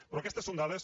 però aquestes són dades